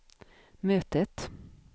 mötet